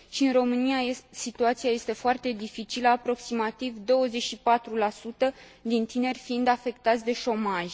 Și în România, situația este foarte dificilă, aproximativ 24 din tineri fiind afectați de șomaj.